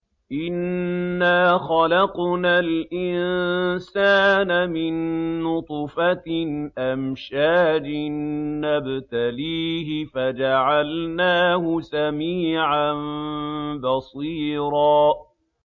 إِنَّا خَلَقْنَا الْإِنسَانَ مِن نُّطْفَةٍ أَمْشَاجٍ نَّبْتَلِيهِ فَجَعَلْنَاهُ سَمِيعًا بَصِيرًا